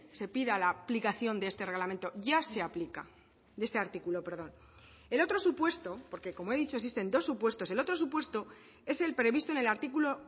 se pida la aplicación de este reglamento ya se aplica de este artículo perdón el otro supuesto porque como he dicho existen dos supuestos el otro supuesto es el previsto en el artículo